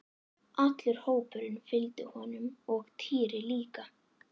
Allur hópurinn fylgdi honum og Týri líka!